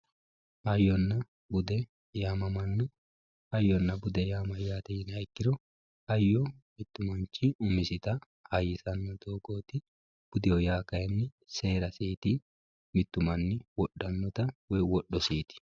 hayyonna bude yaamamanno hayyonna bude yaa mayyate yiniha ikkiro hayyo mittu manchi umisita hayyisanno doogooti budeho yaa kayiinni seerasiiti mittu manni wodhannota woyi wodhosiiti.